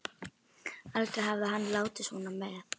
Aldrei hafði hann látið svona með